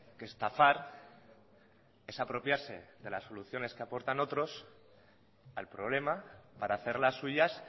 que estafar es apropiarse de las soluciones que aportan otros al problema para hacerlas suyas